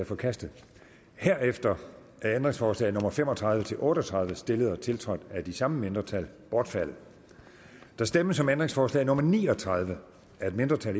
forkastet herefter er ændringsforslag nummer fem og tredive til otte og tredive stillet og tiltrådt af de samme mindretal bortfaldet der stemmes om ændringsforslag nummer ni og tredive af et mindretal